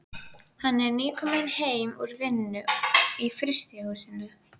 Hann er nýkominn heim úr vinnu í frystihúsinu.